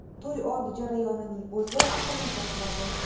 To‘y oldi jarayonining o‘zi aqlni shoshiradi.